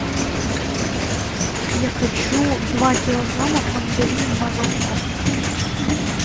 я хочу два килограмма мандарин марокко